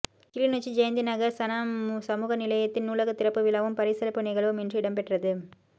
கிளிநொச்சி ஜெயந்திநகர் சன சமூக நிலையத்தின் நூலக திறப்பு விழாவும் பரிசளிப்பு நிகழ்வும் இன்று இடம்பெற்றது